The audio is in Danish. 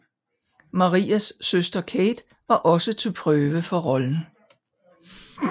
Maras søster Kate var også til prøve for rollen